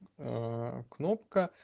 а кнопка